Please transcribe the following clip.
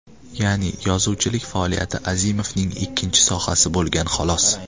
Ya’ni yozuvchilik faoliyati Azimovning ikkinchi sohasi bo‘lgan xolos.